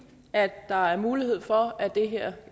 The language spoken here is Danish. at der er mulighed for at det her